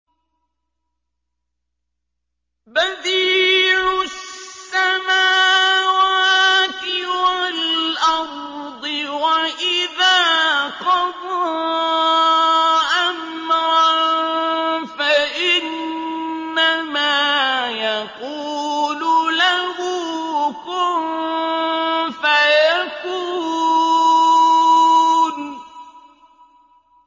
بَدِيعُ السَّمَاوَاتِ وَالْأَرْضِ ۖ وَإِذَا قَضَىٰ أَمْرًا فَإِنَّمَا يَقُولُ لَهُ كُن فَيَكُونُ